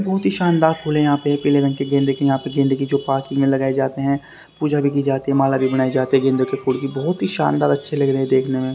बहुत ही शानदार फूल है यहां पे पीले रंग के गेंद की यहां पे गेंद की जो पार्किंग में लगाए जाते हैं पूजा भी की जाती है माला भी बनाई जाती है गेंदों के फूल की बहुत ही शानदार अच्छे लग रहे हैं देखने में।